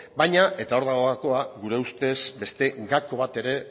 baina eta hor dago gakoa gure ustez beste gako bat ere